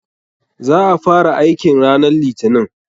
Za a fara aikin ranan litinin.